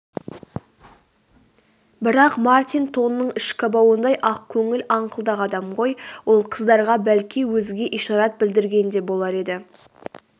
бірақ мартин тонның ішкі бауындай ақкөңіл аңқылдақ адам ғой ол қыздарға бәлки өзге ишарат білдірген де болар еді